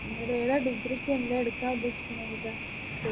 നി ഏതാ degree ക്ക് എന്താ ഉദ്ദേശിക്കുന്നെ എന്നിട്ട്